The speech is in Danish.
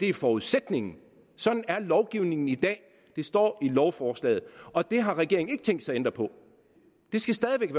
er forudsætningen sådan er lovgivningen i dag det står i lovforslaget og det har regeringen ikke tænkt sig at ændre på det skal stadig